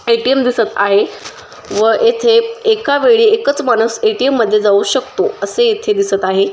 ATM. दिसत आहे व येथे एका वेळी एकच माणस ए.टी.एम. मध्ये जाऊ शकतो असे येथे दिसत आहे.